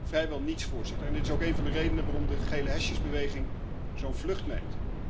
Vrijwel niets, Voorzitter, en dit is ook een van de redenen waarom de gelehesjesbeweging zo'n vlucht neemt.